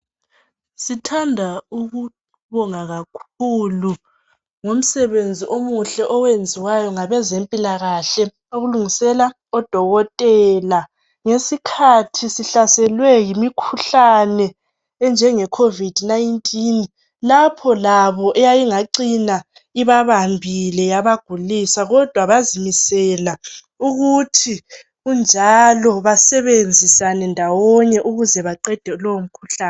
Sithanda ukubonga kakhulu ngo msebenzi omuhle okwenziwayo ngabezempilakahle ukulungisela odokotela ngesikhathi sihlaselwe yimikhuhlane enjenge covid 19 lapho labo eyayingacina ibabambile yabagulisa kodwa bazimisela ukuthi kunjalo basebenzisane ndawonye ukuze baqende lowo mkhuhlane